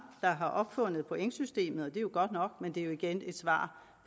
der har opfundet pointsystemet er jo godt nok men det er igen et svar